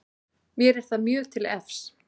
Mér er það mjög til efs